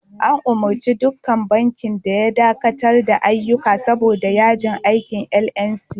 An umurci dukkan bankin da ya dakatar da ayyuka saboda yajin aikin NLC.